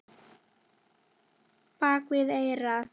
Bak við eyrað.